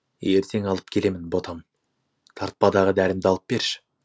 ертең алып келемін ботам тартпадығы дәрімді алып берші